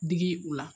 Digi u la